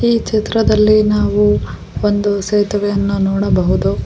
ಈ ಚಿತ್ರದಲ್ಲಿ ನಾವು ಒಂದು ಸೇತುವೆಯನ್ನು ನೋಡಬಹುದು.